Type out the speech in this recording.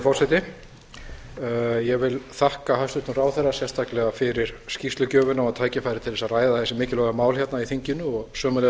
forseti ég vil þakka hæstvirtum ráðherra sérstaklega fyrir skýrslugjöfina og tækifærið til þess að ræða þessi mikilvægu mál hérna í þinginu og sömuleiðis vil